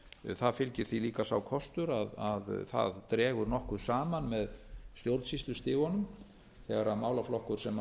það fylgir því líka sá kostur að það dregur nokkuð saman með stjórnsýslustigum þegar málaflokkum sem